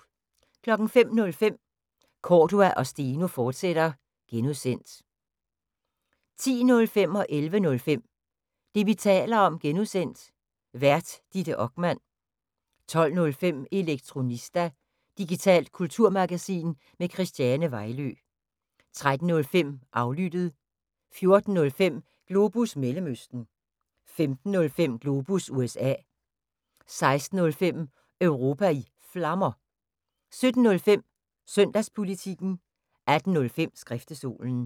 05:05: Cordua & Steno, fortsat (G) 10:05: Det, vi taler om (G) Vært: Ditte Okman 11:05: Det, vi taler om (G) Vært: Ditte Okman 12:05: Elektronista – digitalt kulturmagasin med Christiane Vejlø 13:05: Aflyttet 14:05: Globus Mellemøsten 15:05: Globus USA 16:05: Europa i Flammer 17:05: Søndagspolitikken 18:05: Skriftestolen